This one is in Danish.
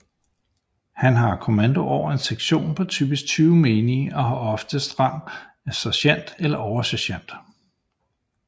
Han har kommando over en sektion på typisk 20 menige og har oftest rang af sergent eller oversergent